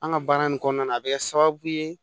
An ka baara in kɔnɔna na a bɛ kɛ sababu ye